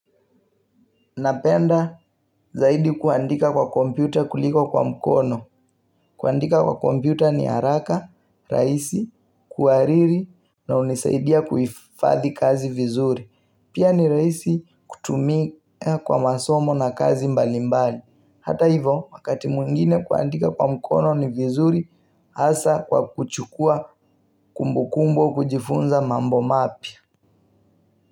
Napenda zaidi kuandika kwa kompyuta kuliko kwa mkono. Kuandika kwa kompyuta ni haraka, raisi, kuhariri na unisaidia kuifadhi kazi vizuri. Pia ni raisi kutumika kwa masomo na kazi mbalimbali. Hata hivo, wakati mwingine kuandika kwa mkono ni vizuri, hasa kwa kuchukua kumbukumbo kujifunza mambo mapia.